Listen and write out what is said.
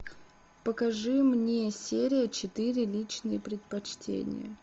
покажи мне серия четыре личные предпочтения